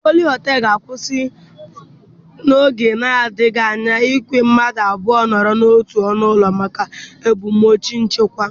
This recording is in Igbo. De Pablo Họtelụ ga-akwụsị n'oge na-adịghị anya ikwe ka mmadụ abụọ nọrọ n'otu ọnụ ụlọ, maka ebumnuche nchekwa.